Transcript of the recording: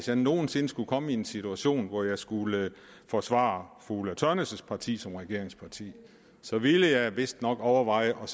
jeg nogen sinde skulle komme i en situation hvor jeg skulle forsvare fru ulla tørnæs parti som regeringsparti så ville jeg vistnok overveje at